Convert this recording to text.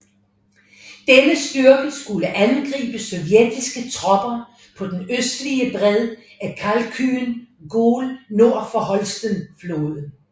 Denne styrke skulle angribe sovjetiske tropper på den østlige bred af Khalkhyn Gol og nord for Holsten floden